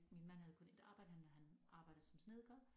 Min mand havde kun et arbejde han han arbejder som snedker